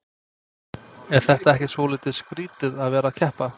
Er þetta ekki svolítið skrýtið að vera að keppa?